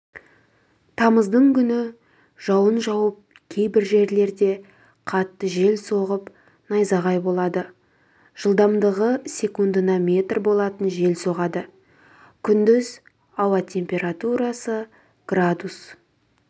тамыздың күні жауын жауып кейбір жерлерде қатты жел соғып найзағай болады жылдамдығы секундына метр болатын жел соғады күндіз ауа температурасы градус